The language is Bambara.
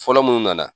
Fɔlɔ mun nana